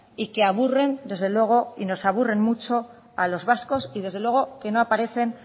y que aburren desde luego nos aburren mucho a los vascos y desde luego que no aparecen